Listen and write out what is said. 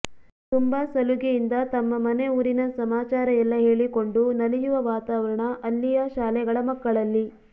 ತುಂಬಾ ಸಲುಗೆಯಿಂದ ತಮ್ಮ ಮನೆ ಊರಿನ ಸಮಾಚಾರ ಎಲ್ಲ ಹೇಳಿಕೊಂಡು ನಲಿಯುವ ವಾತಾವರಣ ಅಲ್ಲಿಯ ಶಾಲೆಗಳ ಮಕ್ಕಳಲ್ಲಿ